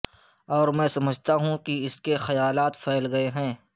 اور میں سمجھتا ہوں کہ اس کے خیالات پھیل گئے ہیں